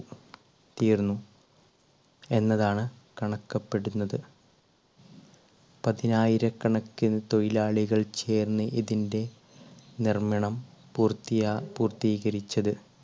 തീർന്നു എന്നതാണ് കണക്കപ്പെടുന്നത് പതിനായിരകണക്കിന് തൊഴിലാളികൾ ചേർന്ന് ഇതിൻറെ നിർമ്മിണം പൂർത്തിയാ~പൂർത്തീകരിച്ചത്